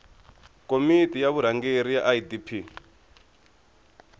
komiti ya vurhangeri ya idp